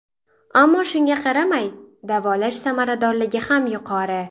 Ammo shunga qaramay, davolash samaradorligi ham yuqori.